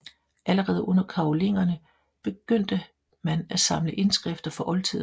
Allerede under karolingerne begyndte man at samle indskrifter fra oldtiden